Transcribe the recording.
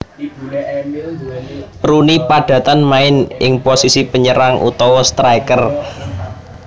Rooney padatan main ing posisi penyerang utawa striker